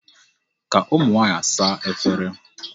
Ka ụmụ nwaanyị saa efere.